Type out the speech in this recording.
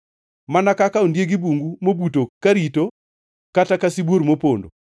Mana kaka ondieg bungu mobuto karito, kata ka sibuor mopondo,